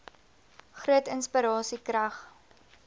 groot inspirasie krag